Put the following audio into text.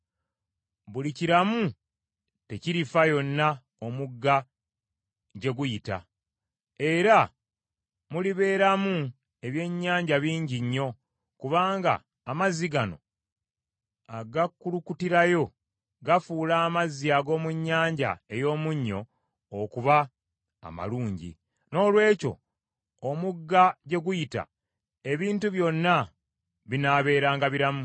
Buli kiramu tekirifa yonna omugga gye guyita, era mulibeeramu ebyennyanja bingi nnyo, kubanga amazzi gano agakulukutirayo gafuula amazzi ag’omu Nnyanja ey’Omunnyo okuba amalungi, noolwekyo omugga gye guyita, ebintu byonna binaabeeranga biramu.